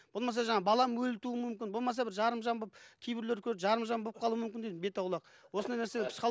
болмаса жаңа балам өлі туу мүмкін болмаса бір жарымжан болып кейбіреулердікі жарымжан болып қалуы мүмкін дейді бету аулақ осындай нәрсе